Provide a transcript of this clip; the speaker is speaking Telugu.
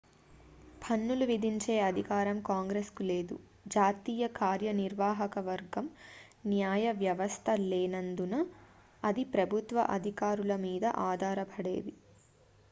పన్నులు విధించే అధికారం కాంగ్రెస్ కు లేదు జాతీయ కార్యనిర్వాహక వర్గం న్యాయవ్యవస్థ లేనందున అది ప్రభుత్వ అధికారులమీద ఆధారపడేది